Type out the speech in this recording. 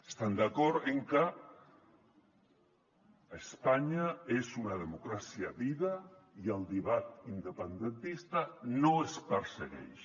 estan d’acord amb que espanya és una democràcia viva i el debat independentista no es persegueix